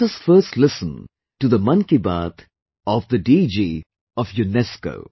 Let us first listen to the Mann Ki Baat of the DG of UNESCO